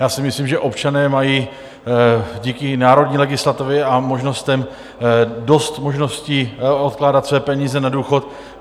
Já si myslím, že občané mají díky národní legislativě a možnostem dost možností odkládat své peníze na důchod.